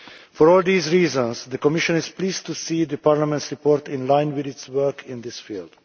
For all these reasons, the Commission is pleased to see Parliament's report in line with its work in this field.